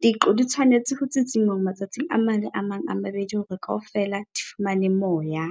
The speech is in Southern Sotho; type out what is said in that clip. Diqo di tshwanetse ho tsitsinngwa matsatsi a mang le a mang a mabedi hore kaofela di fumane moya.